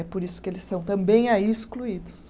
É por isso que eles são também aí excluídos.